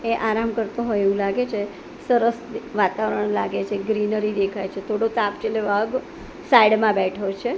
તે આરામ કરતો હોય એવું લાગે છે સરસ વાતાવરણ લાગે છે ગ્રીનરી દેખાય છે થોડો તાપ છે ને વાઘ સાઈડ માં બેઠો છે.